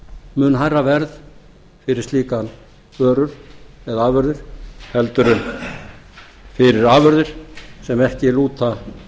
mun hærra verð fyrir slíkar vörur eða afurðir en fyrir afurðir sem ekki lúta